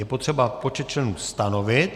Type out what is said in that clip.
Je potřeba počet členů stanovit.